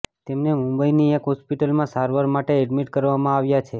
તેમને મુંબઈની એક હોસ્પિટલમાં સારવાર માટે એડમિટ કરવામાં આવ્યા છે